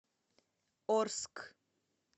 орск